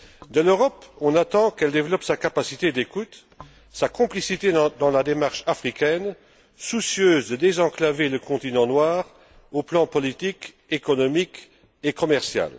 De l'Europe, on attend qu'elle développe sa capacité d'écoute, sa complicité dans la démarche africaine, soucieuse de désenclaver le continent noir au plan politique, économique et commercial.